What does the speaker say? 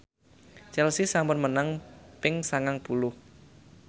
Chelsea sampun menang ping sangang puluh